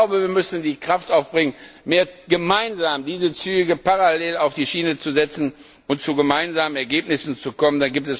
Ich glaube, wir müssen die Kraft aufbringen, gemeinsam diese Züge parallel auf die Schiene zu setzen, um zu gemeinsamen Ergebnissen zu kommen.